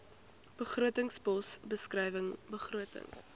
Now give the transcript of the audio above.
begrotingspos beskrywing begrotings